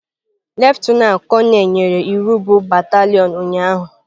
Lieutenant konel nyere iwu bụ batalion ụnyahụ.